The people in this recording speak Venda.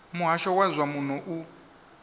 muhasho wa zwa muno u